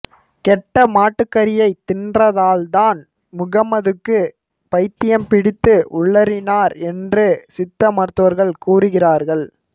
கெட்ட மாட்டுக்கறியை தின்றதால்தான் முகம்மதுவுக்கு பைத்தியம் பிடித்து உளறினார் என்று சித்த மருத்துவர்கள் கூறுகிறார்கள்